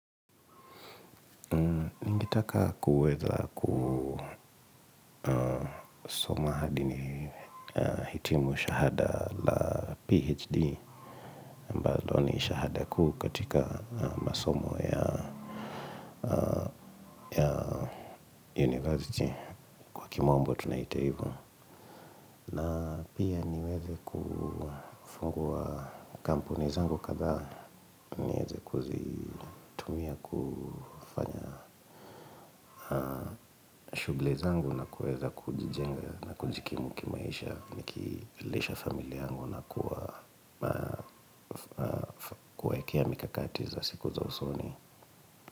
Ningetaka kuweza kusoma hadi nihitimu shahada la PHD ambalo ni shahada kuu katika masomo ya university kwa kimombo tunaita hivo. Na pia niwewe kufungua kampuni zangu kadhaa nieze kuzitumia kufanya shughuli zangu na kuweza kujijenga na kujikimu kimaisha nikilisha familia yangu na kuwaekea mikakati za siku za usoni.